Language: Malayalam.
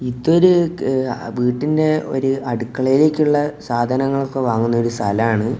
ഇതൊരു ക് വീടിന്റെ ഒരു അടുക്കളയിലേക്കുള്ള സാധനങ്ങളൊക്കെ വാങ്ങുന്ന ഒരു സ്ഥലാണ്.